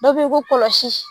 Dɔ bɛ ye ko kɔlɔsi.